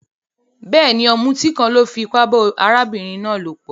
Béèni, òmùtí kan lo fipá ba arábìnrin náà lòpò